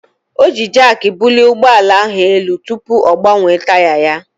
O ji Jaakị bulie ụgbọala ahụ elu tupu ọ gbanwee taya ya.